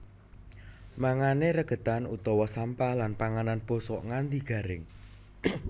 Mangané regedan utawa sampah lan panganan bosok nganti garing